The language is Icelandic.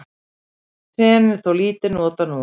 Fen er þó lítið notað núorðið.